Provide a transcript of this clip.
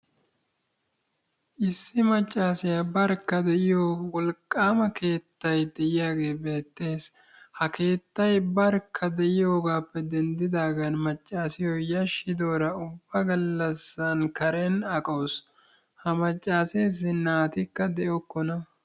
Issi maccaasiyaa barkka de'iyoo wolqqaama keettay de'iyaagee beettees. Ha keettay barkka de'iyoogappe denddiigan maccasiyoo yaashidoora ubba gallaasan karen aqawus. Ha maccaseesi naatikka de"okona.